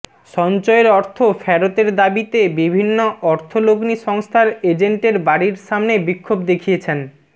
সঞ্চয়ের অর্থ ফেরতের দাবিতে বিভিন্ন অর্থলগ্নি সংস্থার এজেন্টের বাড়ির সামনে বিক্ষোভ দেখিয়েছেন